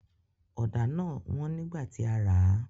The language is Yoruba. Ọ̀dà náà wọ́n nígbà tí a rà a